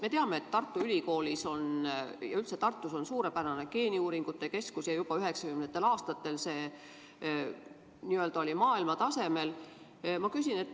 Me teame, et Tartu Ülikoolis on suurepärane geeniuuringute keskus ja juba 1990. aastatel oli see maailmatasemel.